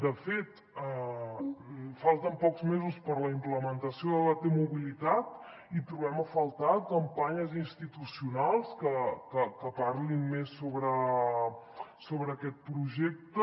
de fet falten pocs mesos per a la implementació de la t mobilitat i trobem a faltar campanyes institucionals que parlin més sobre aquest projecte